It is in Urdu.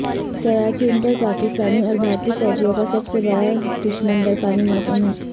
سیاچن پر پاکستانی اور بھارتی فوجیوں کا سب سے بڑا دشمن برفانی موسم ہے